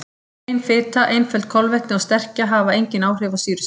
Hrein fita, einföld kolvetni og sterkja hafa engin áhrif á sýrustig.